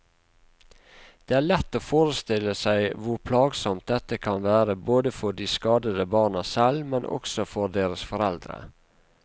Det er lett å forestille seg hvor plagsomt dette kan være både for de skadede barna selv, men også for deres foreldre.